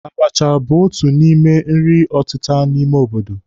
Abacha bụ otu n'ime nri ọtịta ime obodo